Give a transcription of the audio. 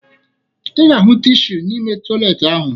Ị ga-ahụ tishu n'ime tọyịleetị ahụ